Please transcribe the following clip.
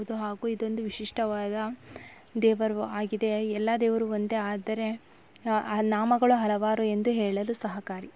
ಇದು ಹಾಗೂ ಇದು ಒಂದು ವಿಶಿಷ್ಟವಾದ ದೇವರು ಆಗಿದೆ ಎಲ್ಲ ದೇವರು ಒಂದೇ ಆದರೆ ಆ ನಾಮಗಳು ಹಲವಾರು ಎಂದು ಹೇಳಲು ಸಹಕಾರಿ